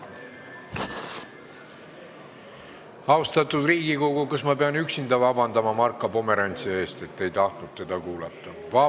Austatud Riigikogu, kas ma pean üksinda paluma Marko Pomerantsilt vabandust, et te ei tahtnud teda kuulata?